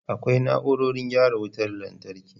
Akwai na'urorin gyara wutar lantarki.